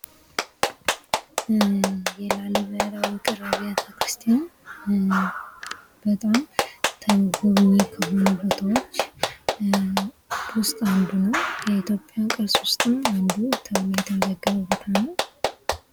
የላሊበላ ውቅር አብያተ ክርስቲያን በጣም ተጎብኝ ከሆነ ቦታዎች ዉስጥ አንዱ ነው። የኢትዮጵያ ቅርስ ውስጥም እንድሁ ተብሎ የተመዘገበ ቦታ ነው።